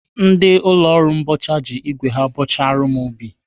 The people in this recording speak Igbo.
Ndị ụlọ ọrụ mbọcha ji igwe ha bọchara m ubi.